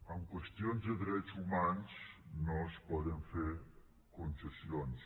en qüestions de drets humans no es poden fer concessions